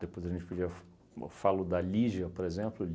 Depois a gente podia f... Eu falo da Lígia, por exemplo.